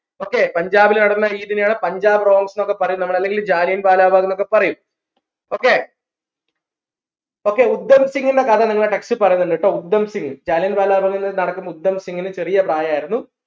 okay പഞ്ചാബിൽ നടന്ന ഈ തിനെയാണ് പഞ്ചാബ് ന്നൊക്കെ പറയുന്നത് അല്ലെങ്കിൽ ജാലിയൻ വാല ബാഗ്ന്നൊക്കെ പറയും okay okay കഥ നിങ്ങളെ text ൽ പറീന്നിണ്ട് ട്ടോ ജാലിയൻ വാല ബാഗ് ന്ന് നടക്കുമ്പോ ചെറിയ പ്രായായിരുന്നു